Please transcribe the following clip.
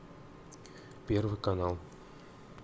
первый канал